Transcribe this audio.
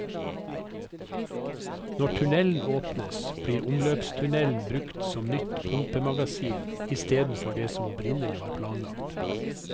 Når tunnelen åpnes, blir omløpstunnelen brukt som nytt pumpemagasin istedenfor det som opprinnelig var planlagt.